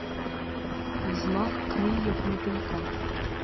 взмах крыльев мотылька